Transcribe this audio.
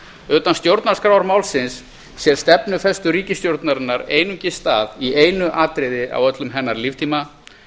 utan stjórnarskrármálsins sér stefnufestu ríkisstjórnarinnar einungis stað í einu atriði á öllum hennar líftíma